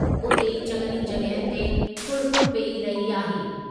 उते ई चङनि ई जॻहियुनि ते फुड़िफुड़ि पेई रही आहे।